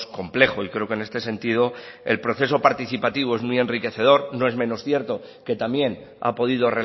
complejo y creo que en este sentido el proceso participativo es muy enriquecedor no es menos cierto que también ha podido